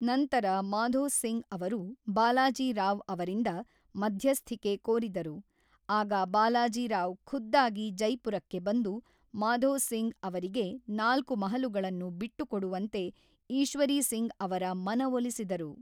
ನಂತರ ಮಾಧೋ ಸಿಂಗ್ ಅವರು ಬಾಲಾಜಿ ರಾವ್ ಅವರಿಂದ ಮಧ್ಯಸ್ಥಿಕೆ ಕೋರಿದರು, ಆಗ ಬಾಲಾಜಿ ರಾವ್ ಖುದ್ದಾಗಿ ಜೈಪುರಕ್ಕೆ ಬಂದು ಮಾಧೋ ಸಿಂಗ್ ಅವರಿಗೆ ನಾಲ್ಕು ಮಹಲುಗಳನ್ನು ಬಿಟ್ಟುಕೊಡುವಂತೆ ಈಶ್ವರೀ ಸಿಂಗ್ ಅವರ ಮನವೊಲಿಸಿದರು.